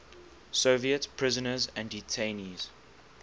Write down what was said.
soviet prisoners and detainees